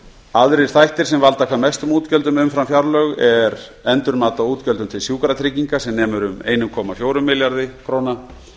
aðrir þættir sem valda hvað mestum útgjöldum umfram fjárlög eru endurmat á útgjöldum til sjúkratrygginga sem nemur um eitt komma fjögur milljörðum króna